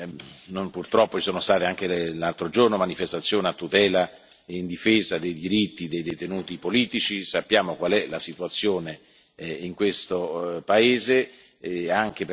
Per quanto riguarda la Turchia, anche lì, purtroppo, ci sono state anche l'altro giorno manifestazioni a tutela e in difesa dei diritti dei detenuti politici.